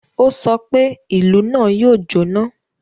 Ó sọ pé, "Ìlú náà yóò jọ́ná!"